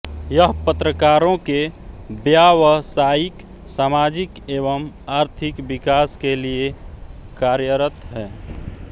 यह पत्रकारों के व्यावसायिक सामाजिक एवं आर्थिक विकास के लिए कार्यरत है